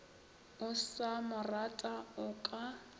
o sa morata o ka